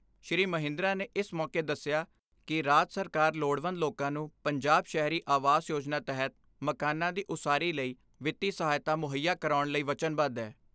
ਸ੍ਰੀ ਮਹਿੰਦਰਾ ਨੇ ਇਸ ਮੌਕੇ ਦਸਿਆ ਕਿ ਰਾਜ ਸਰਕਾਰ ਲੋੜਵੰਦ ਲੋਕਾਂ ਨੂੰ ਪੰਜਾਬ ਸ਼ਹਿਰੀ ਆਵਾਸ ਯੋਜਨਾ ਤਹਿਤ, ਮਕਾਨਾਂ ਦੀ ਉਸਾਰੀ ਲਈ ਵਿੱਤੀ ਸਹਾਇਤਾ ਮੁਹੱਈਆ ਕਰਾਉਣ ਲਈ ਵਚਨਬੱਧ ਐ।